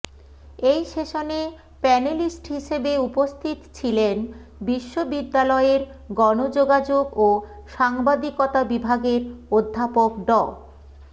এই সেশনে প্যানেলিস্ট হিসেবে উপস্থিত ছিলেন বিশ্ববিদ্যালয়ের গণযোগাযোগ ও সাংবাদিকতা বিভাগের অধ্যাপক ড